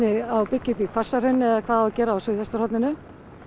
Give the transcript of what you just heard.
á að byggja upp í Hvassahrauni eða hvað á að gera á suðvesturhorninu